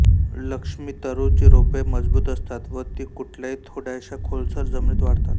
लक्ष्मीतरू ची रोपे मजबूत असतात व ती कुठल्याही थोड्याशा खोलसर जमिनीत वाढतात